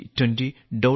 g20